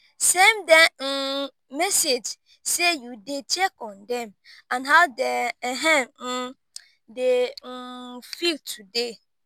send dem um message sey yu dey check on dem and how dem um dey um feel today